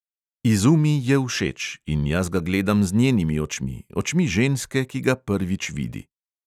Izumi je všeč in jaz ga gledam z njenimi očmi, očmi ženske, ki ga prvič vidi.